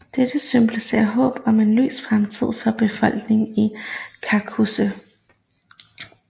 Dette symboliserer håb om en lys fremtid for befolkningen i Kaukasus